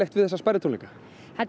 við þessa tónleika þetta er